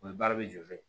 O ye baara bɛ jɔ dɛ